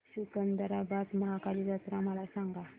सिकंदराबाद महाकाली जत्रा मला सांगा